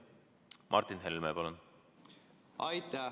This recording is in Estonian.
Martin Helme, palun!